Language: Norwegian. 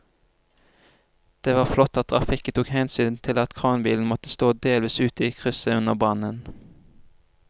Det var flott at trafikken tok hensyn til at kranbilen måtte stå delvis ute i krysset under brannen.